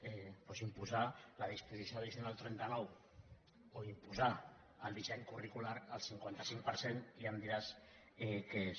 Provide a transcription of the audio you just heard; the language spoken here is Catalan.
doncs imposar la disposició addicional trenta nou o imposar el disseny curricular al cinquanta cinc per cent ja em diràs què és